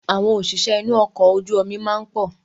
Àwọn òṣìṣẹ́ inú ọkọ̀ ojú omi máa ń pọ̀